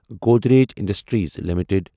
Godrej industries limited